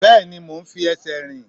Bẹ́ẹ̀ni, mo ń fi ẹsẹ̀ rìn.